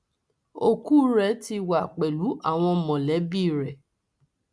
ọkù rẹ ti wà pẹlú àwọn mọlẹbí rẹ